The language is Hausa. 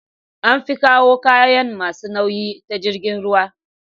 An fi kawo kayan masu nauyi ta jirgin ruwa